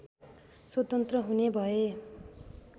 स्वतन्त्र हुने भए